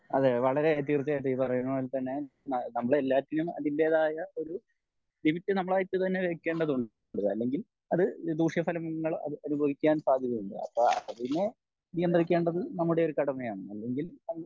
അതെ വളരേ തീർച്ചയായിട്ടും ഈ പറയുന്ന പോലെ തന്നെ നമ്മൾ എല്ലാത്തിനും അതിറ്റേതായ ഒരു ലിമിറ്റ് നമ്മളായിട്ട് തന്നെ വെക്കേണ്ടതുണ്ട് അല്ലെങ്കിൽ അത് ദൂഷ്യ ഫലങ്ങൾ അനുഭവിക്കാൻ സാധ്യത ഉണ്ട് അപ്പൊ അതിനെ നിയന്ത്രിക്കേണ്ടത് നമ്മുടെ ഒരു കടമയാണ്. അല്ലെങ്കിൽ